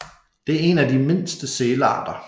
Det er en af de mindste sælarter